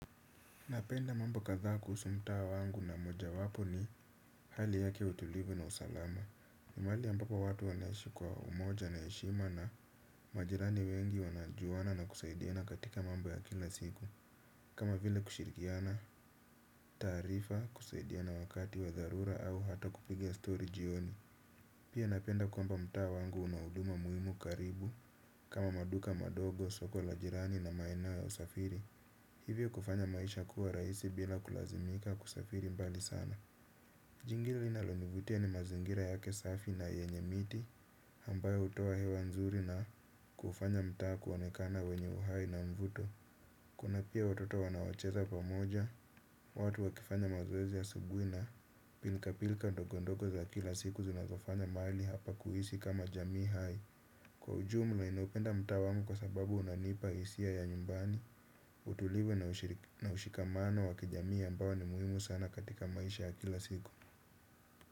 Napenda mambo kadhaa kuhusu mtaa wangu na mojawapo ni hali yake utulivu na usalama. Ni mahali ambapo watu wanaishi kwa umoja na heshima na majirani wengi wanajuana na kusaidiana katika mambo ya kila siku. Kama vile kushirikiana, taarifa, kusaidiana wakati wa dharura au hata kupiga story jioni. Pia napenda kwamba mtaa wangu una huduma muhimu karibu kama maduka madogo, soko la jirani na maeneo ya usafiri. Hivyo kufanya maisha kuwa rahisi bila kulazimika kusafiri mbali sana. Jingi linalonivutia ni mazingira yake safi na yenye miti ambayo hutoa hewa nzuri na kufanya mtaa kuonekana wenye uhai na mvuto. Kuna pia watoto wanaocheza pamoja. Watu wakifanya mazoezi asubuhi na pilka pilka ndogo ndogo za kila siku zinazofanya mahali hapa kuhisi kama jamii hai. Kwa ujumla ninaupenda mtaa wangu kwa sababu unanipa hisia ya nyumbani. Utulivu na ushikamano wa kijamii ambao ni muhimu sana katika maisha ya kila siku.